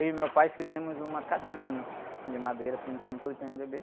Eu e meu pai fizemos uma cadeirona de madeira, pintamos tudo de pê-eme-dê-bê.